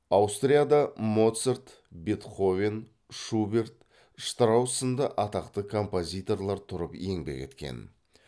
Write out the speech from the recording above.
аустрияда моцарт бетховен шуберт штраус сынды атақты композиторлар тұрып еңбек еткен